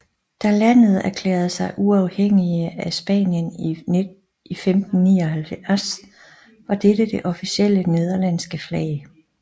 Da landet erklærede sig uafhængige af Spanien i 1579 var dette det officielle nederlandske flag